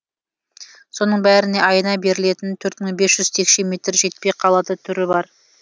соның бәріне айына берілетін төрт мың бес жүз текше метр жетпей қалатын түрі бар